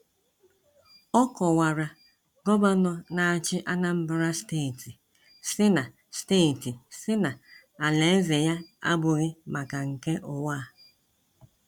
Ọ kọwara gọvanọ n'achi Anambra steeti sị na steeti sị na alaeze ya abụghị maka nke ụwa a.